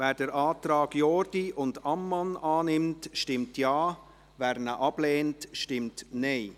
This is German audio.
Wer den Antrag Jordi und Ammann annimmt, stimmt Ja, wer diesen ablehnt, stimmt Nein.